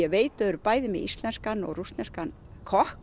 veit þeir eru bæði með íslenskan og rússneskan kokk